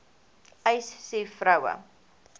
uys sê vroue